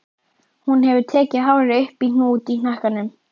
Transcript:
Hún hefur tekið hárið upp í hnút í hnakkanum.